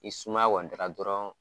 Ni sumaya kɔni dara dɔrɔn